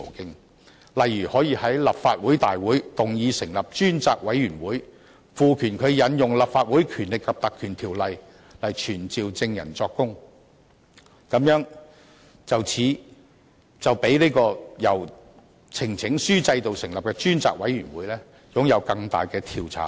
舉例而言，可以在立法會會議動議成立專責委員會，賦權它引用《立法會條例》來傳召證人作供，這樣比由呈請書制度成立的專責委員會擁有更大的調查權。